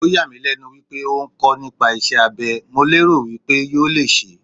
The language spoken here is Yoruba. Ó yà mí lẹ́nu wípé ó ń kọ́ nípa iṣẹ́ abé, mo lérò wípé yóò le ṣẹ́.